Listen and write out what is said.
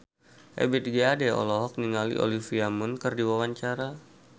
Ebith G. Ade olohok ningali Olivia Munn keur diwawancara